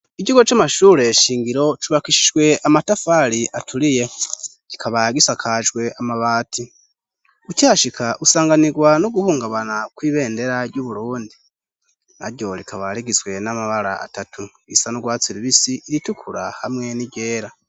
Ikigo c'amashure shingiro cubakishijwe amatafari aturiye, kikaba gisakajwe amabati, ukihashika usanganirwa no guhungabana kw'ibendera ry'Uburundi ,naryo rikaba rigizwe n'amabara atatu :irisa n'urwatsi rubisi, iritukura ,hamwe n'iryera.